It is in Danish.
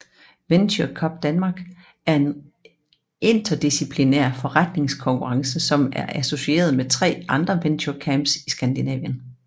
Venture Cup Danmark er en interdisciplinær forretningsplankonkurrence som er associeret med tre andre Venture Cups i Skandinavien